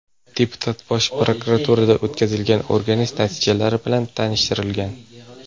Deputat Bosh prokuraturada o‘tkazilgan o‘rganish natijalari bilan tanishtirilgan.